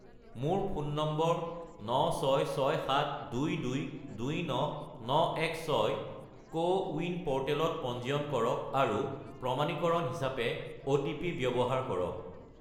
মোৰ phone number 96672229916 CoWIN প'ৰ্টেলত পঞ্জীয়ন কৰক আৰু প্ৰমাণীকৰণ হিচাপে অ'টিপি ব্যৱহাৰ কৰক।